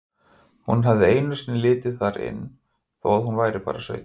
Hún hafði einu sinni litið þar inn þó að hún væri bara sautján.